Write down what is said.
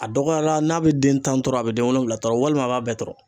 A dɔgɔyara n'a be den tan tɔrɔ a be den wolonwula tɔrɔ a b'a bɛɛ tɔrɔ